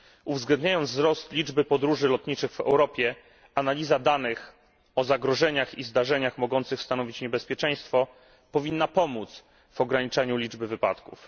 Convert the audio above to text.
Uwzględniając wzrost liczby podróży lotniczych w Europie, analiza danych o zagrożeniach i zdarzeniach mogących stanowić niebezpieczeństwo, powinna pomóc w ograniczaniu liczby wypadków.